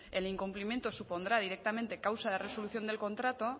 el incumplimiento supondrá directamente causa de resolución del contrato